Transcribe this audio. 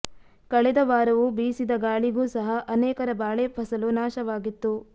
ಕಳೆದ ವಾರವೂ ಬೀಸಿದ ಗಾಳಿಗೂ ಸಹ ಅನೇಕರ ಬಾಳೆ ಫಸಲು ನಾಶವಾಗಿತ್ತು